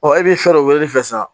Ɔ e b'i fɛ dɔ weleli fɛn san